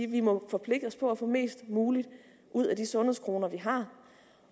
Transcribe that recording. vi må forpligte os på at få mest muligt ud af de sundhedskroner vi har